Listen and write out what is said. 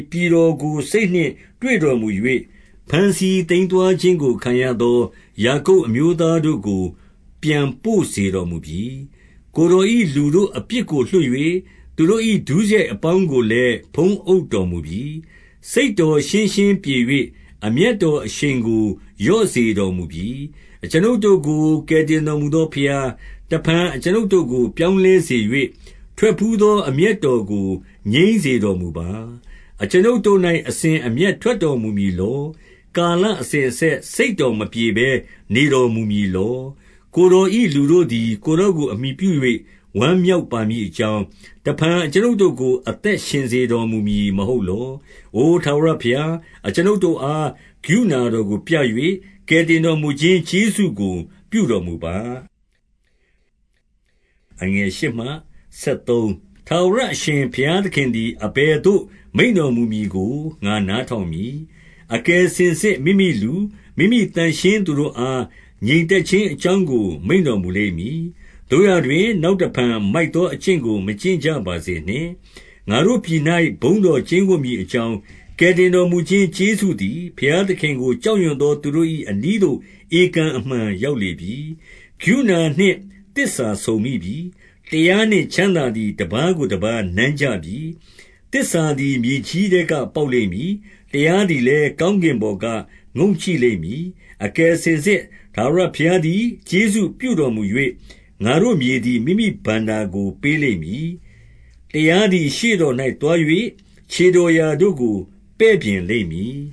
ပြည်တော် ကိုစိတ်နှင့်တွေ့တော်မူ၍၊ ဘမ်းဆီးသိမ်းသွားခြင်းကို ခံရသော ယာကုပ်အမျိုးသားတို့ကို ပြန်ပို့စေတော်မူပြီ။ ကိုယ်တော်၏ လူတို့အပြစ်ကိုလွှတ်၍၊ သူတို့၏ ဒုစရိုက်အပေါင်းကိုလည်း ဖုံးအုပ်တော်မူပြီ။ စိတ်တော်ရှင်းရှင်းပြေ၍၊ အမျက်တော်အရှိန်ကို လျော့စေတော်မူပြီ။ အကျွန်ုပ်တို့ကို ကယ်တင်တော်မူသော ဘုရား၊ တဖန်အကျွန်ုပ်တို့ကို ပြောင်းလဲစေ၍၊ ထွက်ဘူးသော အမျက်တော်ကို ငြိမ်းစေတော်မူပါ။ အကျွန်ုပ်တို့၌ အစဉ်အမျက်ထွက်တော်မူမည် လော။ ကာလအစဉ်အဆက် စိတ်တော်မပြေဘဲ နေတော် မူမည်လော။ ကိုယ်တော်၏ လူတို့သည် ကိုယ်တော်ကို အမှီပြု ၍ ဝမ်းမြောက်ပါမည်အကြောင်း၊ တဖန်အကျွန်ုပ်တို့ကို အသက်ရှင်စေတော်မူမည်မဟုတ်လော။ အိုထာဝရဘုရား၊ အကျွန်ုပ်တို့အား ကရုဏာ တော်ကိုပြ၍၊ ကယ်တင်တော်မူခြင်းကျေးဇူးကို ပြုတော် မူပါ။ ထာဝရအရှင် ဘုရားသခင်သည် အဘယ်သို့ မိန့်တော်မူမည်ကို ငါနားထောင်မည်။ အကယ်စင်စစ် မိမိလူ၊ မိမိသန့်ရှင်းသူတို့အား ငြိမ်သက်ခြင်းအကြောင်း ကို မိန့်တော်မူလိမ့်မည်။ သို့ရာတွင်၊ နောက်တဖန် မိုက် သော အကျင့်ကို မကျင့်ကြပါစေနှင့်။ ငါတို့ပြည်၌ ဘုန်းတော်ကျိန်းဝပ်မည်အကြောင်း၊ ကယ်တင်တော်မူခြင်း ကျေးဇူးသည်၊ ဘုရားသခင်ကို ကြောက်ရွံ့သော သူတို့၏အနီးသို့ ဧကန်အမှန် ရောက် လေပြီ။ ကရုဏာနှင့်သစ္စာဆုံမိပြီ။ တရားနှင့်ချမ်းသာ သည် တပါးကို တပါးနမ်းကြပြီ။ သစ္စာသည် မြေကြီးထဲက ပေါက်လိမ့်မည်။ တရားသည်လည်း ကောင်းကင်ပေါ်ကငုံ့ကြည့်လိမ့်မည်။ အကယ်စင်စစ် ထာဝရဘုရားသည် ကျေးဇူးပြု တော်မူ၍၊ ငါတို့ မြေသည် မိမိဘဏ္ဍာကို ပေးလိမ့်မည်။ တရားသည် ရှေ့တော်၌သွား၍ ခြေတော်ရာ တို့ကို ပဲ့ပြင်လိမ့်မည်